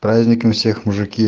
с праздником всех мужики